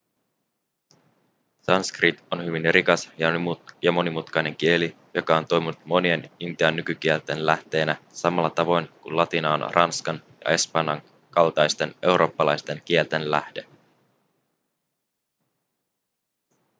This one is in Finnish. sanskrit on hyvin rikas ja monimutkainen kieli joka on toiminut monien intian nykykielten lähteenä samalla tavoin kuin latina on ranskan ja espanjan kaltaisten eurooppalaisten kielten lähde